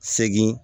Segin